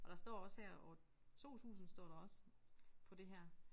Og der står også her år 2000 står der også på det her